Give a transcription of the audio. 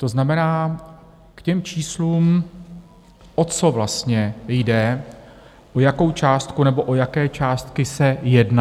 To znamená k těm číslům, o co vlastně jde, o jakou částku, nebo o jaké částky se jedná.